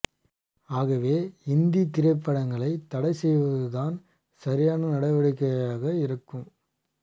ஆகவே இந்தி திரைப்படங்களை தடை செய்வது தான் சரியான நடவடிக்கையாக இருக்கும்